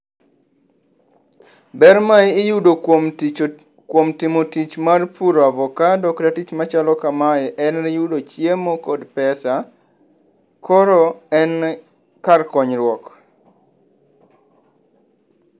Ber ma iyudo kuom tich kuom timo tich mar puro avokado kata kuom timo tich machalo kamae en yudo chiemo kod bpesa . Koro en kar konyruok.